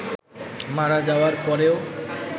মারা যাওয়ার পরেও